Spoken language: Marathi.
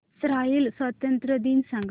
इस्राइल स्वातंत्र्य दिन सांग